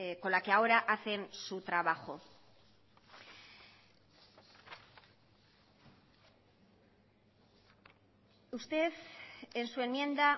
con la que ahora hacen su trabajo usted en su enmienda